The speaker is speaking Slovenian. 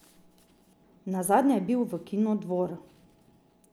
Nazadnje je bil v kinu Dvor.